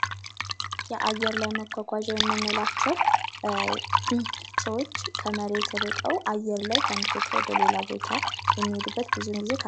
የአየር ላይ መጕጕዣ የምንላቸው ሰዎች ከመሬት እርቀው አየር ላይ ከአንዱ ቦታ ወደ ሌላ ቦታ የሚሄዱበት ብዙውን ጊዜ